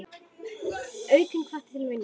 Aukinn hvati til vinnu.